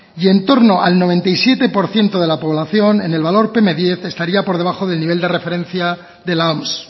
y en torno al noventa y siete por ciento de la población en el valor pm diez estaría por debajo del nivel de referencia de la oms